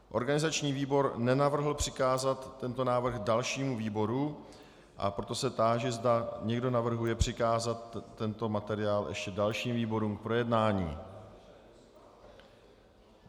Organizační výbor nenavrhl přikázat tento návrh dalšímu výboru, a proto se táži, zda někdo navrhuje přikázat tento materiál ještě dalším výborům k projednání.